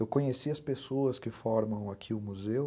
Eu conheci as pessoas que formam aqui o museu,